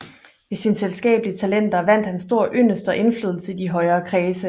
Ved sine selskabelige talenter vandt han stor yndest og indflydelse i de højere kredse